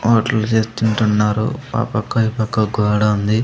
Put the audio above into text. Hotel చేస్తుంటున్నారు ఆ పక్క ఈ పక్క ఒక గోడ ఉంది.